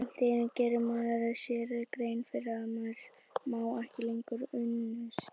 Allt í einu gerir maður sér grein fyrir að maður á ekki lengur unnusta.